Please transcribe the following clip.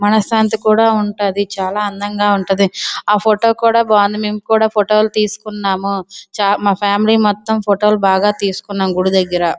మన శాంతి కూడా ఉంటది. చాలా అందంగా కూడా ఉంటాది. ఏ ఫోటో కూడా బాగుంతాది. మేము కూడా ఫోటోలు తీసుకున్నం మా ఫ్యామిలీ మొత్తం ఫోటోలు బాగా తీసుకుంటాము గుడి దగ్గర.